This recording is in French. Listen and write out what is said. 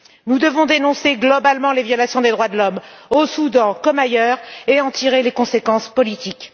Nous devons dénoncer globalement les violations des droits de l'homme au Soudan, comme ailleurs, et en tirer les conséquences politiques.